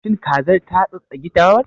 Shin kazar ta tsattsagi dawar?